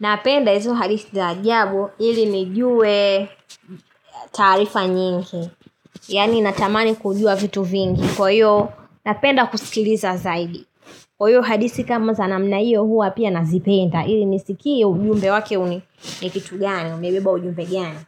Napenda hizo hadithi za ajabu ili nijue tarifa nyingi. Yaani natamani kujua vitu vingi. Kwa hiyo napenda kusikiliza zaidi. Kwa hiyo hadithi kama za namna hiyo hua pia nazipenda. Ili nisikie ujumbe wake uni ni kitu gani. Umebeba ujumbe gani.